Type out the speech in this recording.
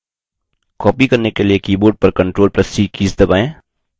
copy करने के लिए keyboard पर ctrl + c keys दबाएँ